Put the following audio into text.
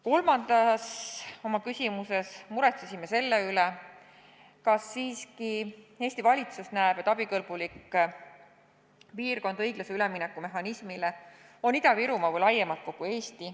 Kolmandas küsimuses muretsesime selle üle, kas Eesti valitsus näeb abikõlbuliku piirkonnana seoses õiglase ülemineku mehhanismiga siiski Ida-Virumaad või laiemalt kogu Eestit.